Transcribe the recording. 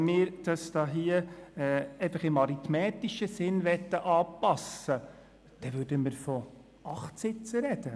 Wenn wir die Anzahl der Sitze des Berner Juras im arithmetischen Sinn anpassen wollten, sprächen wir von 8 Sitzen.